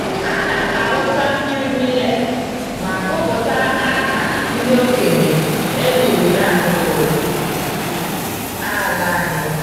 Ana m awụsa mmiri millet ma gụpụta aha ndị okenye e liri n'akụkụ ala anyị.